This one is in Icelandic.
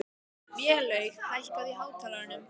Vélaug, hækkaðu í hátalaranum.